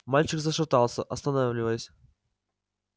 мальчик зашатался останавливаясь